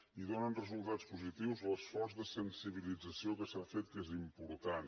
i dóna resultats positius l’esforç de sensibilització que s’ha fet que és important